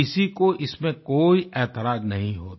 किसी को इसमें कोई ऐतराज़ नहीं होता